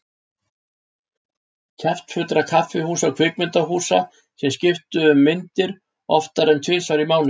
Kjaftfullra kaffihúsa og kvikmyndahúsa sem skiptu um myndir oftar en tvisvar í mánuði.